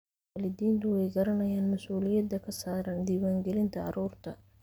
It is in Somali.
Waalidiintu way garanayaan mas'uuliyadda ka saaran diiwaangelinta carruurta.